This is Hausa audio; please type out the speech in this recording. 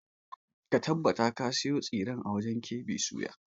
Ka tabbata ka sayo tsiren a wajen KB soya!